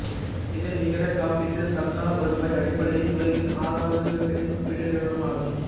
இது நிகர காப்பீட்டு சந்தா வருவாய் அடிப்படையில் உலகின் ஆறாவது மிகப்பெரிய காப்பீட்டு நிறுவனமாகும்